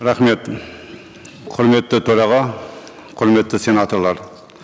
рахмет құрметті төраға құрметті сенаторлар